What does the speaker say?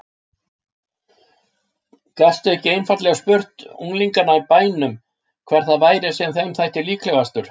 Gastu ekki einfaldlega spurt unglingana í bænum hver það væri sem þeim þætti líklegastur?